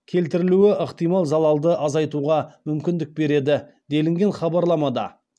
келтірілуі ықтимал залалды азайтуға мүмкіндік береді делінген хабарламада